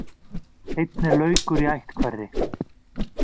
Einn er laukur í ætt hverri.